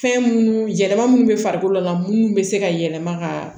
Fɛn munnu yɛlɛma minnu bɛ farikolo la munnu be se ka yɛlɛma ka